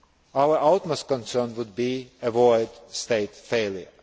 Our utmost concern would be to avoid state failure.